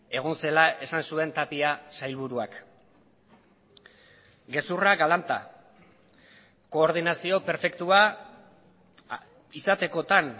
egon zela esan zuen tapia sailburuak gezurra galanta koordinazio perfektua izatekotan